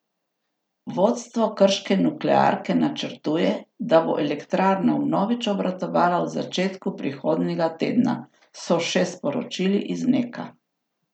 Vodstvo krške nuklearke načrtuje, da bo elektrarna vnovič obratovala v začetku prihodnjega tedna, so še sporočili iz Neka.